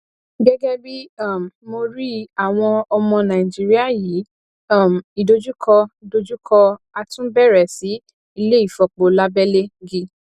gẹgẹ bí um mó rí i àwon ọmọ naijiria yí um ìdojúkọ dojú kọ a tún bẹrẹ si ileifopo labele gi